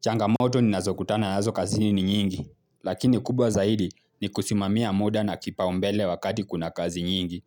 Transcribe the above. Changamoto ninazokutana nazo kazini ni nyingi, lakini kubwa zaidi ni kusimamia muda na kipaumbele wakati kuna kazi nyingi.